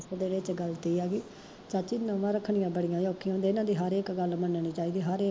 ਹਰ ਇੱਕ ਤੇ ਗੱਲ ਏ ਆ ਕਿ, ਚਾਚੀ ਨਊਆਂ ਰੱਖਣੀਆਂ ਬੜੀਆਂ ਔਖੀਆਂ ਨੇ, ਏਨਾ ਦੀ ਹਰ ਇੱਕ ਗੱਲ ਮੰਨਣੀ ਪਏਗੀ